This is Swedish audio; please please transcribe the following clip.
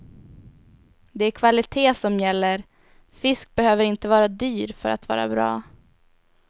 Det är kvalitet som gäller, fisk behöver inte vara dyr för att vara bra.